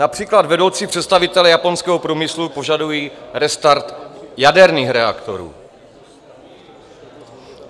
Například vedoucí představitelé japonského průmyslu požadují restart jaderných reaktorů.